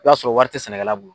I b'a sɔrɔ wari tɛ sɛnɛkɛla bolo.